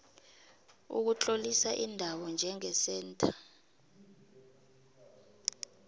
ukutlolisa indawo njengesentha